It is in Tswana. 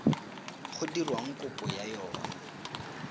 go dirwang kopo ya yona